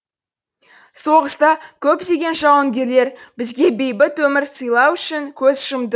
соғыста көптеген жауынгерлер бізге бейбіт өмір сыйлау үшін көз жұмды